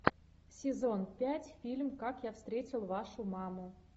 сезон пять фильм как я встретил вашу маму